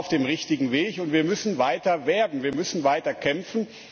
Wir sind auf dem richtigen Weg, und wir müssen weiter werben, wir müssen weiter kämpfen.